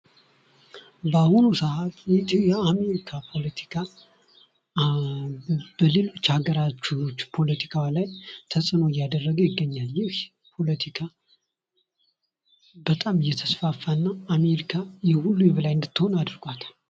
በአሁኑ ሰአት የኢትዮአሜሪካ ፖለቲካ በሌሎች ሀገሮች ፖለቲካዋ ላይ ተጽዕኖ እያደረገ ይገኛል ይህ ፖለቲካ በጣም እየተስፋፋ እና አሜሪካ የሁሉ የበላይ እንድትሆን አድርጓታል።